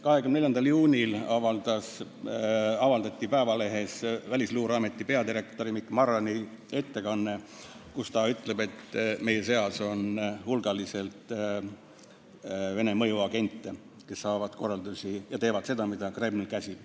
24. juunil avaldati Eesti Päevalehes Välisluureameti peadirektori Mikk Marrani ettekanne, kus ta ütleb, et meie seas on hulgaliselt Vene mõjuagente, kes saavad korraldusi ja teevad seda, mida Kreml käsib.